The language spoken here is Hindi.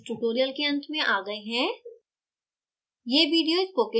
इसके साथ हम इस tutorial के अंत में आ गए हैं